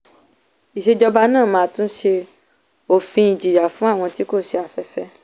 ìsèjọba náà máa tún ṣe òfin ìjìyà fún àwọn tí tí kò ṣe afẹ́fẹ́.